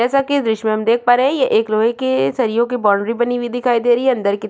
जैसे की देश मे देख पा रहै है ये एक लोहै के सरियो कि बॉन्ड्री बनी दिखाई दे रही अंदर की त--